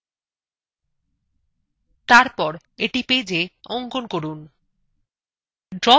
তারপর এটি পেজএ অঙ্কন করুন